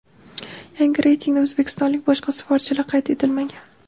Yangi reytingda o‘zbekistonlik boshqa sportchilar qayd etilmagan.